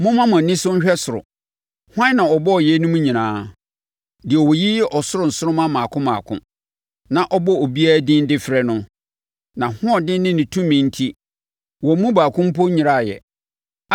Momma mo ani so nhwɛ ɔsoro: Hwan na ɔbɔɔ yeinom nyinaa? Deɛ ɔyiyi ɔsoro nsoromma mmaako mmaako, na ɔbɔ obiara din de frɛ no. Nʼahoɔden ne ne tumi enti wɔn mu baako mpo nnyeraeɛ.